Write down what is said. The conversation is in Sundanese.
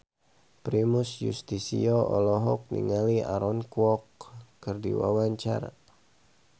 Primus Yustisio olohok ningali Aaron Kwok keur diwawancara